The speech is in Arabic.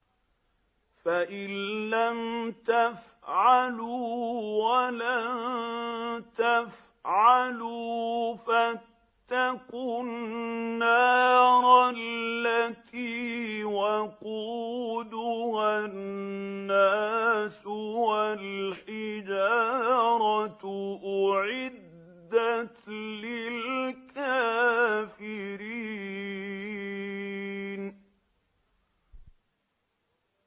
فَإِن لَّمْ تَفْعَلُوا وَلَن تَفْعَلُوا فَاتَّقُوا النَّارَ الَّتِي وَقُودُهَا النَّاسُ وَالْحِجَارَةُ ۖ أُعِدَّتْ لِلْكَافِرِينَ